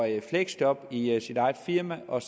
i fleksjob i sit eget firma og